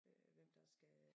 Øh hvem der skal